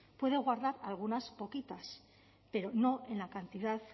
puede guardar algunas poquitas pero no en la cantidad